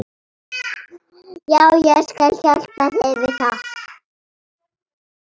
Já, ég skal hjálpa þér við það.